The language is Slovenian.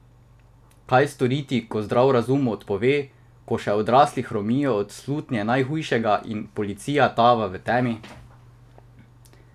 Kaj storiti, ko zdrav razum odpove, ko še odrasli hromijo od slutnje najhujšega, in policija tava v temi?